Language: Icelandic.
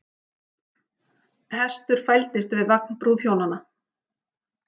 Hestur fældist við vagn brúðhjónanna